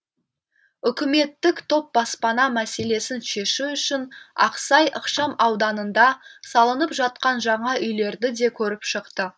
үкіметтік топ баспана мәселесін шешу үшін ақсай ықшам ауданында салынып жатқан жаңа үйлерді де көріп шықты